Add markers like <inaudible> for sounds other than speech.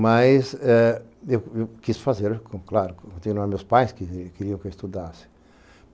Mas eh eu eu quis fazer, claro, porque <unintelligible> meus pais que queriam que eu estudasse.